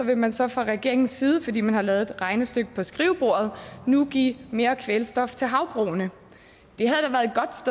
vil man så fra regeringens side fordi man har lavet et regnestykke på skrivebordet nu give mere kvælstof til havbrugene det